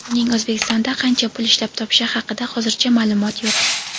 Uning O‘zbekistonda qancha pul ishlab topishi haqida hozircha ma’lumot yo‘q.